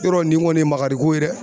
Yɔrɔ nin kɔni ye makariko ye dɛ